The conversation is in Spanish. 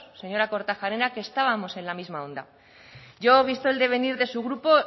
señora kortajarena que estábamos en la misma onda yo visto el devenir de su grupo